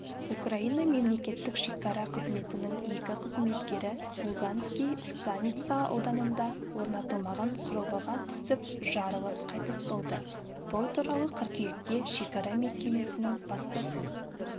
украина мемлекеттік шекара қызметінің екі қызметкері луганский станица ауданында орнатылмаған құрылғыға түсіп жарылып қайтыс болды бұл туралы қыркүйекте шекара мекемесінің баспасөз